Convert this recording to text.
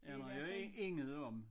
Aner jo intet om